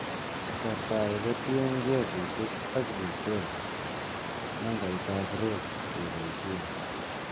Kasartaake kotienge V6 ak V10, nambaitab rows keboisien